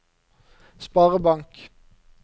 sparebank